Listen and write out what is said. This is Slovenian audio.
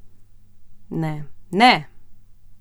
Ne, ne!